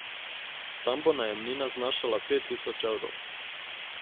Tam bo najemnina znašala pet tisoč evrov.